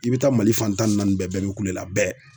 I bi taa Mali fan tan ni naani bɛɛ bɛɛ be kule la bɛɛ.